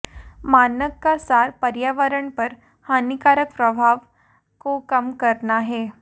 मानक का सार पर्यावरण पर हानिकारक प्रभाव को कम करना है